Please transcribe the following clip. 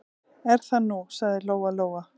Er það nú, sagði Lóa-Lóa.